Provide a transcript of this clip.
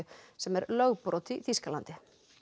sem er lögbrot í Þýskalandi